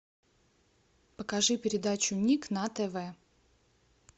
покажи передачу ник на тв